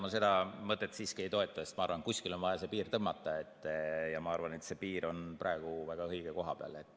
Ma seda mõtet siiski ei toeta, sest ma arvan, et kuskile on vaja see piir tõmmata, ja ma arvan, et see piir on praegu väga õige koha peal.